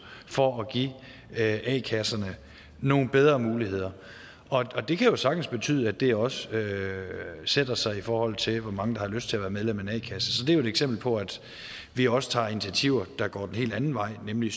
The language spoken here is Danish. for at give a kasserne nogle bedre muligheder det kan jo sagtens betyde at det også sætter sig i forhold til hvor mange der har lyst til at være medlem af en a kasse så det er jo et eksempel på at vi også tager initiativer der går den helt anden vej nemlig